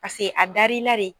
Pase a darilade.